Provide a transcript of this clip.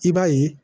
I b'a ye